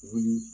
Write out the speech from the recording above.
Wuli